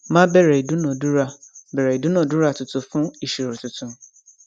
má bẹrẹ ìdúnadúrà bẹrẹ ìdúnadúrà tuntun fún ìṣirò tuntun